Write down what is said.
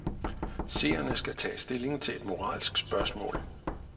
Seerne skal tage stilling til et moralsk spørgsmål.